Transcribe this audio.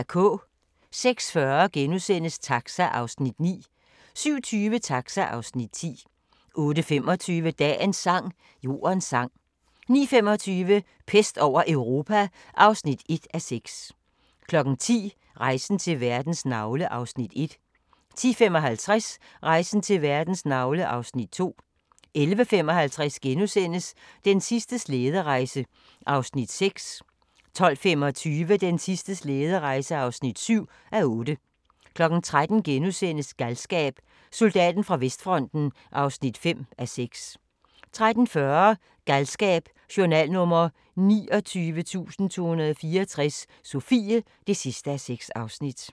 06:40: Taxa (Afs. 9)* 07:20: Taxa (Afs. 10) 08:25: Dagens sang: Jordens sang 09:25: Pest over Europa (1:6) 10:00: Rejsen til verdens navle (Afs. 1) 10:55: Rejsen til verdens navle (Afs. 2) 11:55: Den sidste slæderejse (6:8)* 12:25: Den sidste slæderejse (7:8) 13:00: Galskab: Soldaten fra vestfronten (5:6)* 13:40: Galskab: Journal nr. 29.264 – Sofie (6:6)